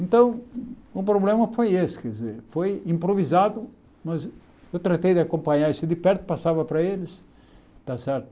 Então, o problema foi esse, quer dizer, foi improvisado, mas eu tratei de acompanhar isso de perto, passava para eles, está certo?